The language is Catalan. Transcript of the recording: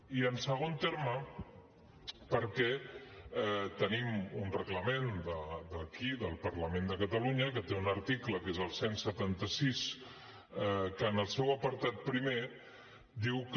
i en segon terme perquè tenim un reglament d’aquí del parlament de catalunya que té un article que és el cent i setanta sis que en el seu apartat primer diu que